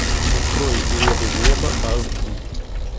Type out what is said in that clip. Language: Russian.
открой мне бы в небо аш ди